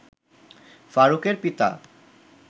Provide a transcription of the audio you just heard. ফারুকের পিতা